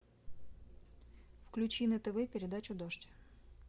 включи на тв передачу дождь